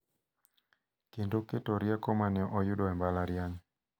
Kendo keto rieko ma ne oyudo e mbalariany.